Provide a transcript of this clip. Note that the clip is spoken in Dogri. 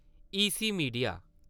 ई सी मिडिया